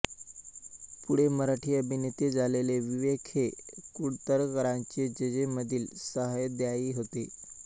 पुढे मराठी अभिनेते झालेले विवेक हे कुडतरकरांचे जेजेमधील सहाध्यायी होते